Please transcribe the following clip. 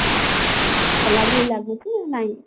ହେଲା ଭଳି ଲାଗୁଛି ନାଇଁ